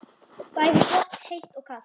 Bæði gott heitt og kalt.